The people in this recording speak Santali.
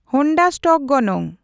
ᱦᱳᱱᱰᱟ ᱥᱴᱚᱠ ᱜᱚᱱᱚᱝ